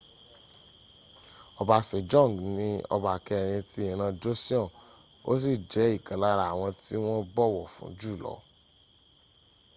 ọba sejong ni ọba kẹrin ti ìran joseon ó sì jẹ́ ìkan lára àwọn tí wọ́n bọ̀wọ̀ fún jùlọ